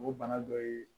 O bana dɔ ye